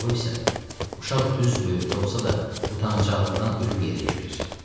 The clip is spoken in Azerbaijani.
O isə uşaq düz böyründə olsa da utancaqlıqdan ölüb yerə girir.